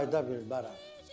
Qayıda bilmərəm.